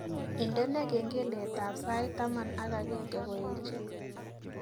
Indene kengeletab sait taman ak agenge ngoeche